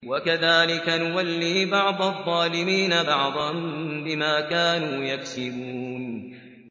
وَكَذَٰلِكَ نُوَلِّي بَعْضَ الظَّالِمِينَ بَعْضًا بِمَا كَانُوا يَكْسِبُونَ